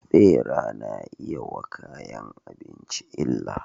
Bera nayi iyayi wa kayan abinci illa